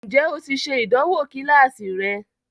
Ǹjẹ́ o ti ṣe ìdánwò kíláàsì rẹ?